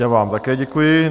Já vám také děkuji.